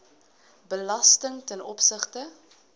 belasting ten opsigte